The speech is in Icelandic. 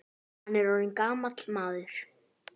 Hann er orðinn gamall maður.